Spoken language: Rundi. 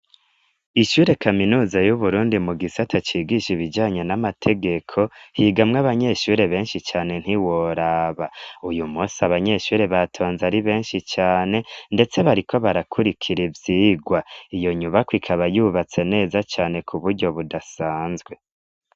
Ishure kaminuza y'Uburundi mu gisata cigisha ibijanye n'amategeko, higamwe abanyeshure benshi cane ntiworaba. Uyumunsi abanyeshure batonze ari benshi cane, ndetse bariko barakurikira ivyigwa. Iyo nyubako ikaba yubatse neza cane k'uburyo budasanzwe.